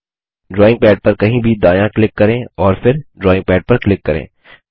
drawing pad पर कहीं भी दायाँ क्लिक करें और फिर ड्रॉइंग पैड पर क्लिक करें